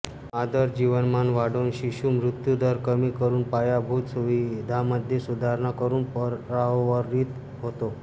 हा दर जीवनमान वाढवून शिशु मृत्युदर कमी करुन पायाभूत सुविधांमध्ये सुधारणा करून परावर्तित होतो